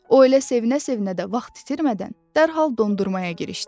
O elə sevinə-sevinə də vaxt itirmədən dərhal dondurmaya girişdi.